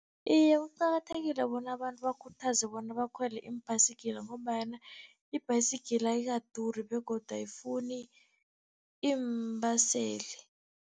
Iye, kuqakathekile bona abantu bakhuthazwe bona bakhwele iimbhasikila, ngombanyana ibhayisikila ayikaduri begodu ayifuni iimbaseli